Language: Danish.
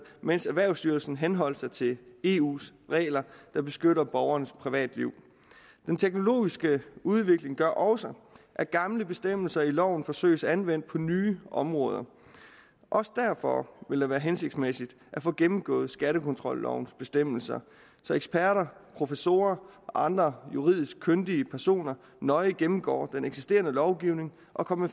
mens erhvervsstyrelsen henholdt sig til eus regler der beskytter borgernes privatliv den teknologiske udvikling gør også at gamle bestemmelser i loven forsøges anvendt på nye områder også derfor vil det være hensigtsmæssigt at få gennemgået skattekontrollovens bestemmelser så eksperter professorer og andre juridisk kyndige personer nøje gennemgår den eksisterende lovgivning og kommer